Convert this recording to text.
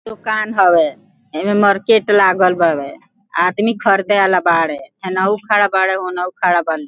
दुकान हवे एमें मार्केट लागल बावे आदमी खरदे वाला बाड़े हेनहु खड़ा बाड़े होनहु खड़ा बा।